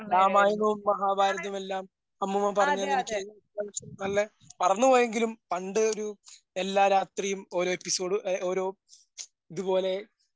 രാമായണവും മഹാഭാരതമെല്ലാം അമ്മൂമ്മ പറഞ്ഞുതന്ന് എനിക്ക് നല്ല മറന്നുപോയെങ്കിലും പണ്ടൊരു എല്ലാ രാത്രിയും ഓരോ എപ്പിസോട് എ ഓരോ ഇതുപോലെ